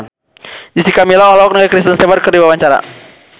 Jessica Milla olohok ningali Kristen Stewart keur diwawancara